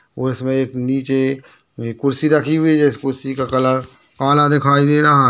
और इसे में एक नीचे कुर्सी रखी हुई है इस कुर्सी का कलर काला दिखाई दे रहा है।